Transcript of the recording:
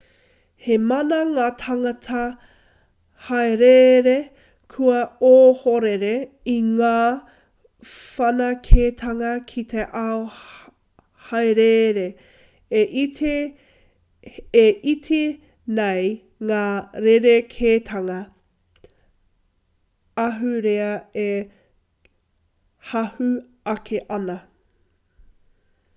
he maha ngā tāngata haereere kua ohorere i ngā whanaketanga ki te ao haereere e iti nei ngā rerekētanga ahurea e hahū ake ana